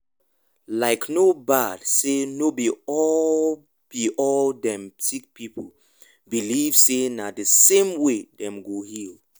likee no bad say no be all be all dem sick pipu believe say na the same way dem go heal.